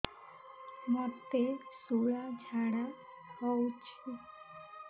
ମୋତେ ଶୂଳା ଝାଡ଼ା ହଉଚି